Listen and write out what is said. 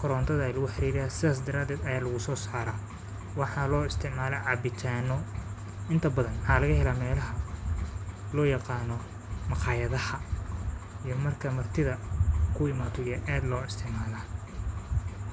korontada ay lu xiriiraya saas daraad ah ayaa lagu soo saara waxaa loo isticmala cabitaano inta badan ha laga helaa meelaha loo yaqaano maqaayadaha iyo marka martida ku imaato iyo aad loo isticmaalaa.